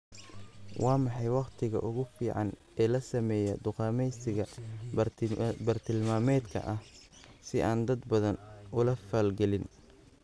Waa maxay waqtiga ugu fiican ee la sameeyo dukaamaysiga bartilmaameedka ah si aanan dad badan ula falgelin